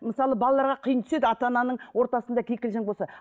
мысалға балаларға қиын түседі ата ананың ортасында кикілжің болса